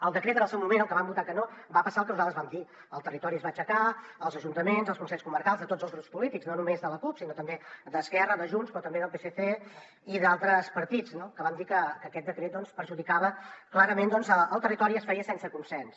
al decret en el seu moment el que vam votar que no va passar el que nosaltres vam dir el territori es va aixecar els ajuntaments els consells comarcals de tots els grups polítics no només de la cup sinó també d’esquerra de junts però també del psc i d’altres partits no que van dir que aquest decret perjudicava clarament el territori i es feia sense consens